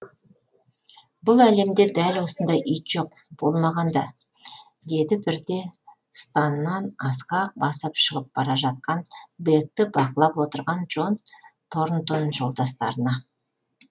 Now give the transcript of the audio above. бұл әлемде дәл осындай ит жоқ болмаған да деді бірде станнан асқақ басып шығып бара жатқан бэкті бақылап отырған джон торнтон жолдастарына